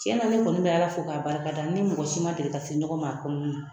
Tiɲɛna ne kɔni bɛ Ala fo k'a barikada ni mɔgɔ si ma deli ka se ɲɔgɔn ma a kɔnɔna na